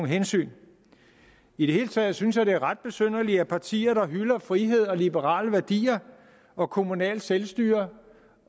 hensyn i det hele taget synes jeg det er ret besynderligt at partier der hylder frihed og liberale værdier og kommunalt selvstyre